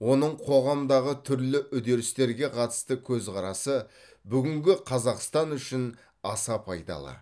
оның қоғамдағы түрлі үдерістерге қатысты көзқарасы бүгінгі қазақстан үшін аса пайдалы